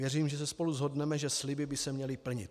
Věřím, že se spolu shodneme, že sliby by se měly plnit.